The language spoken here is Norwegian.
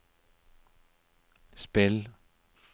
spill